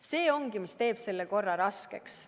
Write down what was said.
See ongi, mis teeb selle korra raskeks.